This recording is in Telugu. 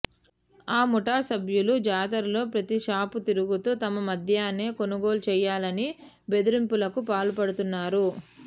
ఆ ముఠా సభ్యులు జాతరలో ప్రతీ షాపు తిరుగుతూ తమ మద్యాన్నే కొనుగోలు చేయాలని బెదిరింపులకు పాల్పడుతన్నారు